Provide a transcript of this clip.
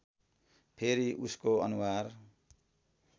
फेरि उसको अनुहार